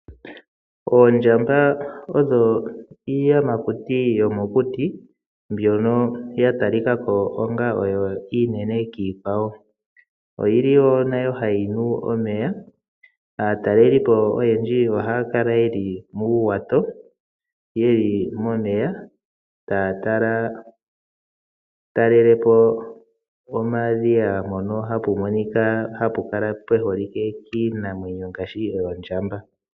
Oondjamba odho iiyamakuti mbyono ya talika ko onga oyo iinene kiikwawo . Oyili wo nayo hayi nu omeya . Aatalelipo oyendji ohaya kala yeli muuwato, yeli momeya, taya talelepo omadhiya mpono hapu monika oondjamba.